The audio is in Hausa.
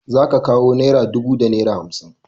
Za ka kawo naira dubu da naira hamsin.